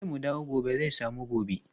Yace mu dawo gobe zai samu goba.